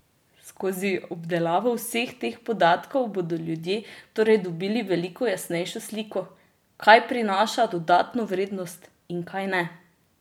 Skozi obdelavo vseh teh podatkov bodo ljudje torej dobili veliko jasnejšo sliko, kaj prinaša dodano vrednost in kaj ne?